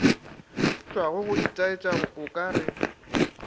tšwago go itaetša o kare